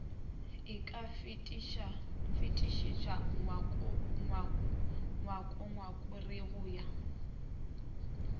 o ka fetišetša ngongorego ya